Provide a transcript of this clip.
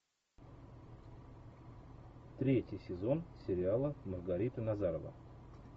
третий сезон сериала маргарита назарова